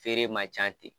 Feere man ca ten